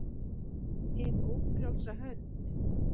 HIN ÓFRJÁLSA HÖND